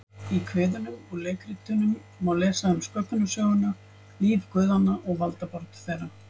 Í kviðunum og leikritunum má lesa um sköpunarsöguna, líf guðanna og valdabaráttu þeirra.